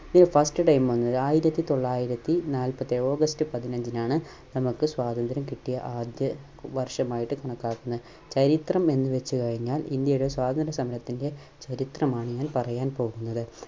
ഇതിൽ First time വന്നത് ആയിരത്തിത്തൊള്ളായിരത്തി നാലപ്പത്തിയേഴ് August പതിനഞ്ചിനാണ് നമ്മുക്ക് സ്വാതന്ത്ര്യം കിട്ടിയ ആദ്യ വർഷമായിട്ട് കണക്കാക്കുന്നത്. ചരിത്രം എന്തെന്നുവച്ച് കഴിഞ്ഞാൽ ഇന്ത്യയുടെ സ്വാതന്ത്ര്യ സമരത്തിന്റെ ചരിത്രമാണ് ഞാൻ പറയാൻ പോകുന്നത്.